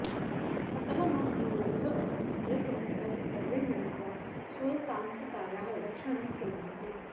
अतः मम अनुरोधः अस्ति यत भवन्तः सर्वे मिलित्वा स्वतान्त्रतायाः रक्षणं कुर्वन्तु